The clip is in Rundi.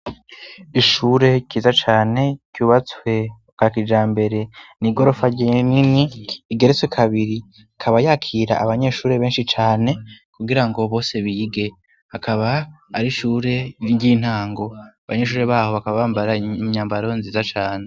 Ishure ryiza cane ryubatswe bwa kijambere. Ni igorofa rinini igeretswe kabiri, ikaba yakira abanyeshuri benshi cane kugira ngo bose bige, akaba ari ishure ry'intango. Abanyeshure babo bakaba bambara inyambaro nziza cane.